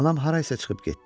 Anam harasa çıxıb getdi.